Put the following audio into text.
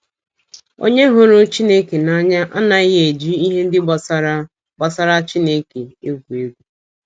Onye hụrụ Chineke n’anya anaghị eji ihe ndị gbasara gbasara Chineke egwu egwu.